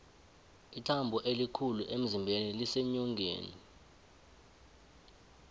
ithambo elikhulu emzimbeni liseenyongeni